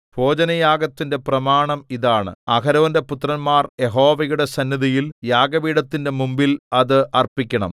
ഭോജനയാഗത്തിന്റെ പ്രമാണം ഇതാണ് അഹരോന്റെ പുത്രന്മാർ യഹോവയുടെ സന്നിധിയിൽ യാഗപീഠത്തിന്റെ മുമ്പിൽ അത് അർപ്പിക്കണം